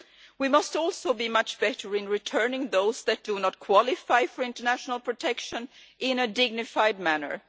We must also do much better in returning those who do not qualify for international protection in a dignified manner.